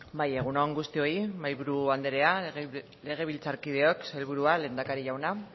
bai egun on guztioi mahaiburu andrea legebiltzarkideok sailburuak lehendakari jauna